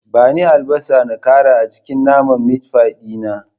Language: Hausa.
Bani albasa na ƙara a cikin naman mitfai din nan